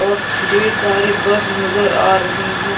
और ढेर सारी बस नज़र आ रही है ।